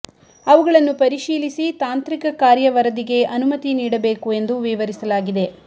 ಅವುಗಳನ್ನು ಪರಿಶೀಲಿಸಿ ತಾಂತ್ರಿಕ ಕಾರ್ಯ ವರದಿಗೆ ಅನುಮತಿ ನೀಡಬೇಕು ಎಂದು ವಿವರಿಸಲಾಗಿದೆ